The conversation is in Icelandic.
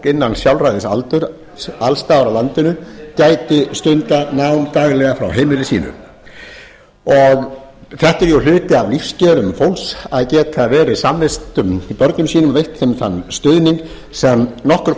innan sjálfræðisaldurs alls staðar á landinu gæti stundað nám daglega frá heimili sínu þetta er jú hluti af lífskjörum fólks að geta verið samvistum við börn sín og veitt þeim þann stuðning sem nokkur